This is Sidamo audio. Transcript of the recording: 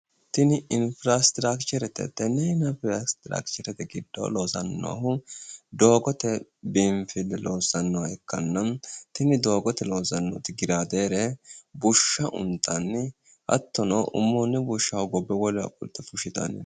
tini infiraasterakicherete tenne infiraasterakicherete giddo loosannohu doogote biinfile loossannoha ikkanna tini doogote loossannoti gilaadeere bushsha untanni hattono ummoonni bushsha hogobbe wolewa qolte fushshitanni no.